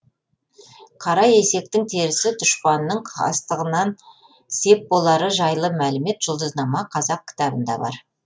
қара есектің терісі дұшпанның қастығынан сеп болары жайлы мәлімет жұлдызнама қазақ кітабында бар